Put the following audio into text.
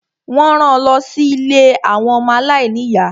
Wọ́n ran lọ sí ilé àwọn ọmọ aláìní ìyá.